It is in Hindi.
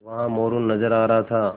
वहाँ मोरू नज़र आ रहा था